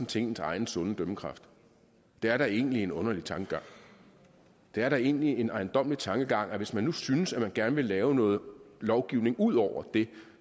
til ens egen sunde dømmekraft det er da egentlig en underlig tankegang det er da egentlig en ejendommelig tankegang at hvis man nu synes at man gerne vil lave noget lovgivning ud over det